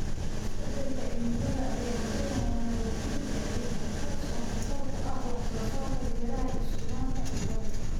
Isbeddelka cimilada ayaa keenaya nabaad-guurka ciidda, taas oo khatar ku ah wax soo saarka beeraha iyo sugnaanta cuntada.